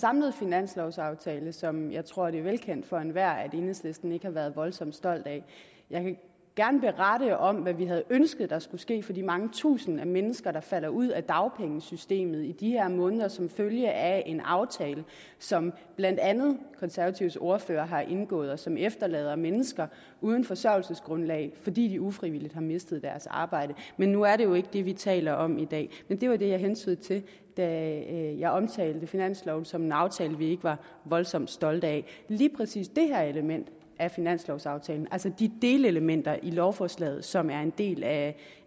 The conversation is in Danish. samlede finanslovaftale som jeg tror det er velkendt for enhver at enhedslisten ikke har været voldsomt stolt af jeg ville gerne berette om hvad vi havde ønsket der skulle ske for de mange tusinde mennesker der falder ud af dagpengesystemet i de her måneder som følge af en aftale som blandt andet konservatives ordfører har indgået og som efterlader mennesker uden forsørgelsesgrundlag fordi de ufrivilligt har mistet deres arbejde men nu er det jo ikke det vi taler om i dag men det var det jeg hentydede til da jeg omtalte finansloven som en aftale vi ikke var voldsomt stolte af lige præcis det her element i finanslovaftalen altså de delelementer i lovforslaget som er en del af